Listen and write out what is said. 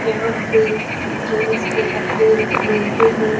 यहाँ पे जेंट्स के कपड़े मिलते हैं।